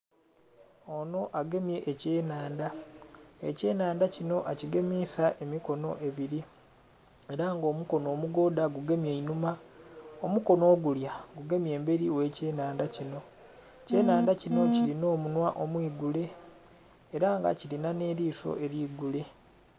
Onho agemye ekye nhandha, ekye nhandha kinho a kigemisa emikonho ebiri era nga omukono omugodha gu gemye inhuma, omukono ogulya gugemye emberi ghe key nhandha kinho. Ekye nhandha kinho kilina omunhwa omwi gule era nga kilinha eliso eri gule.